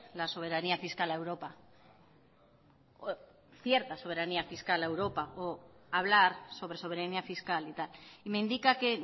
la soberanía fiscal a europa cierta soberanía fiscal a europa o hablar sobre soberanía fiscal y me indica que